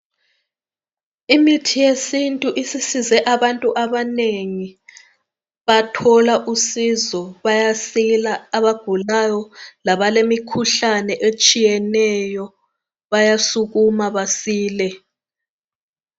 Imithi yesintu isisize abantu abanengi bathola usizo bayasila abagulayo labalemikhuhlane etshiyeneyo bayasukuma basile